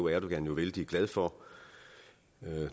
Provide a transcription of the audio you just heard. erdogan jo vældig glad for